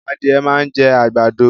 Adìẹ máa ń jẹ́ àgbàdo